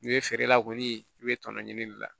N'i ye feere la kɔni i bɛ tɔnɔ ɲini a la